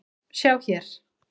Sjá hér